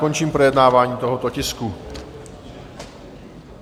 Končím projednávání tohoto tisku.